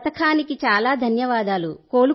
ఈ పథకానికి చాలా ధన్యవాదాలు